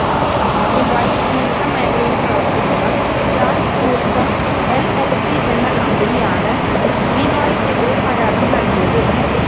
ദുബൈയില് tourism മേഖലയില് പ്രവര്ത്തിക്കുന്ന Jas tourism LLC എന്ന കമ്പനിയാണ് ബിനോയിക്കെതിരെ പരാതി നല്കിയത്